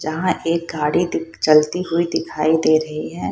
जहाँ एक गाड़ी दिख चलती हुई दिखाई दे रही है।